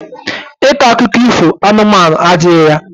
Ike akuko iho anụmanụ adihi ya.